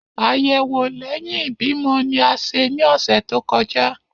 Ayẹwo lẹhin ibimọ ni a ṣe ni ọsẹ to kọja.